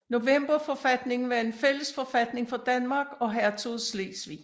Novemberforfatningen var en fælles forfatning for Danmark og hertugdømmet Slesvig